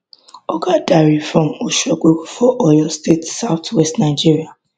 oga dare from ogbomosho for oyo state south west nigeria